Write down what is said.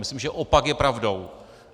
Myslím, že opak je pravdou.